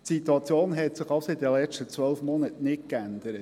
Die Situation hat sich also in den vergangenen zwölf Monaten nicht verändert.